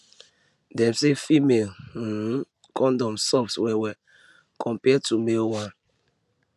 dem say female um condom soft wellwell compared to male one